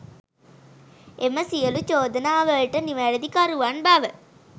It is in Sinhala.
එම සියලු චෝදනාවලට නිවැරදිකරුවන් බව